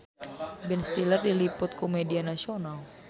Ben Stiller diliput ku media nasional